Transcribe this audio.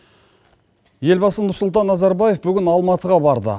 елбасы нұрсұлтан назарбаев бүгін алматыға барды